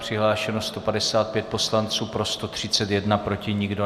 Přihlášeno 155 poslanců, pro 131, proti nikdo.